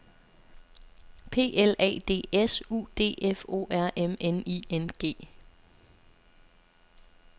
P L A D S U D F O R M N I N G